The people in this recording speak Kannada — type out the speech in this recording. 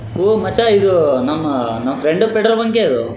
ಹೋ ಮಚ್ಚಾ ಇದು ನಮ್ಮ ನಮ್ಮ ಫ್ರೆಂಡ್ ದು ಪೆಟ್ರೋಲ್ ಬಂಕೆ ಇದು .